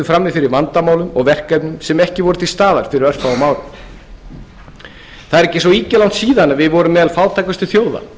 frammi fyrir vandamálum og verkefnum sem ekki voru til staðar fyrir örfáum árum það er ekki svo ýkja langt síðan við vorum meðal fátækustu þjóða